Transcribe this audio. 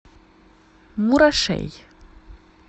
мурашей